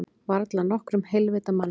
Varla nokkrum heilvita manni.